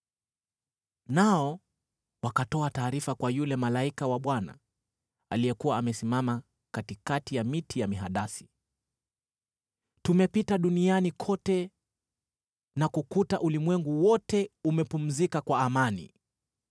Nao wakatoa taarifa kwa yule malaika wa Bwana , aliyekuwa amesimama katikati ya miti ya mihadasi, “Tumepita duniani kote na kukuta ulimwengu wote umepumzika kwa amani.”